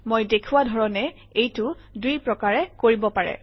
মই দেখুওৱা ধৰণে এইটো দুই প্ৰকাৰে কৰিব পাৰে